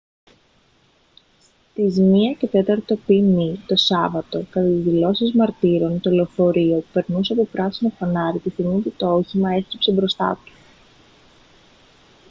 στις 1:15 π.μ. το σάββατο κατά τις δηλώσεις μαρτύρων το λεωφορείο περνούσε από πράσινο φανάρι τη στιγμή που το όχημα έστριψε μπροστά του